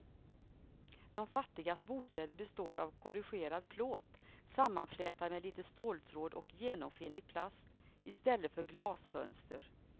De fattigas bostäder består av korrugerad plåt sammanflätad med lite ståltråd och genomskinlig plast i stället för glasfönster.